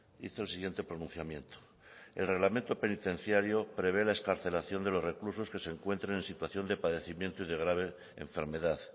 hizo el siguiente pronunciamiento el reglamento penitenciario prevé la excarcelación de los reclusos que se encuentren en situación de padecimiento y de grave enfermedad